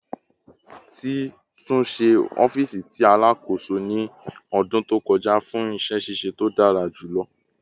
Ti tunṣe ọfiisi ti Alakoso ni ọdun to kọja fun iṣẹ ṣiṣe to dara julọ